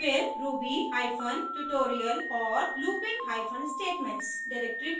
फिर ruby hyphen tutorial और looping hyphen statements directory पर